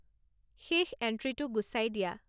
শেষ এণ্ট্রিটো গুচাই দিয়া